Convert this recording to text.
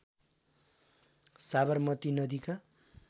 साबरमती नदीका